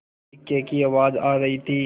इक्के की आवाज आ रही थी